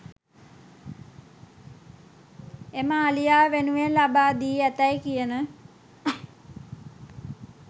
එම අලියා වෙනුවෙන් ලබා දී ඇතැයි කියන